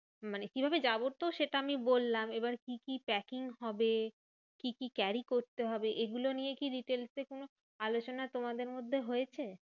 মানে কিভাবে যাবো তো সেটা আমি বললাম। এবার কি কি packing হবে? কি কি carry করতে হবে? এগুলো নিয়ে কি details এ কোনো আলোচনা তোমাদের মধ্যে হয়েছে?